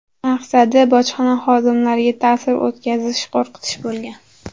Maqsadi – bojxona xodimlariga ta’sir o‘tkazish, qo‘rqitish bo‘lgan.